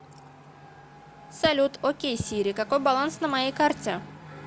салют окей сири какой баланс на моей карте